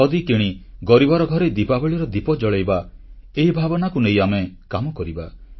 ଖଦୀ କିଣି ଗରିବର ଘରେ ଦିପାବଳୀର ଦିପ ଜଳାଇବା ଏହି ଭାବନାକୁ ନେଇ ଆମେ କାମ କରିବା